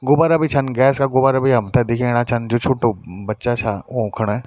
गुब्बारा भी छन गैस का गुब्बारा भी हमथे दिखेणा छन जू छुट्टू बच्चा छा ऊखण।